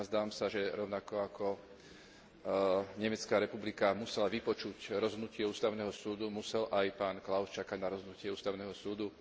Nazdávam sa, že rovnako ako Nemecká republika musela vypočuť rozhodnutie ústavného súdu, musel aj pán Klaus čakať na rozhodnutie ústavného súdu.